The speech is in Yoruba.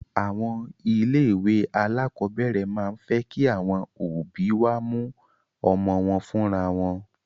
Àwọn ilé ìwé alákọ̀berẹ̀ máa ń fẹ́ kí àwọn òbí wá mú ọmọ wọn fúnra wọn.